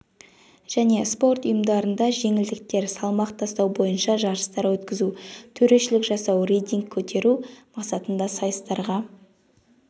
және спорт ұйымдарында жеңілдіктер салмақ тастау бойынша жарыстар өткізу төрешілік жасау рейтинг көтеру мақсатында сайыстарға